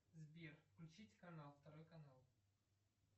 сбер включить канал второй канал